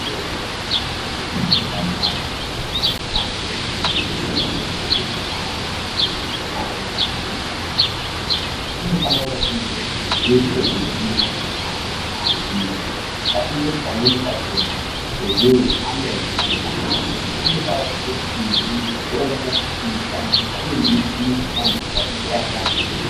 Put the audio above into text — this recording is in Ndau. Kweshe kunopota kweirapwa anhu kana kweifundiswa ngezve anhu maererano nezveutano kunofane kunge kune zveshe zvinodiwa kuti anhu aziye ngatimboti pamweni pachona ehe ana echikora ,asi anodawo kupote eiziye mitombo inoshandiswa uye nemichini inoshandiswa mukurape antu.